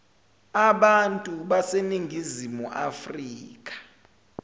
abantu baseningizimu afrika